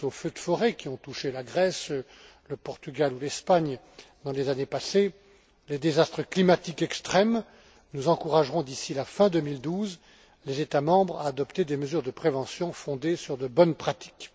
Je pense aux feux de forêts, qui ont touché la Grèce, le Portugal ou l'Espagne dans les années passées, et aux désastres climatiques extrêmes. Nous encouragerons, d'ici la fin 2012, les États membres à adopter des mesures de prévention fondées sur de bonnes pratiques.